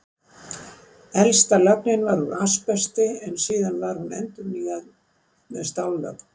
Elsta lögnin var úr asbesti, en síðar var hún endurnýjuð með stállögn.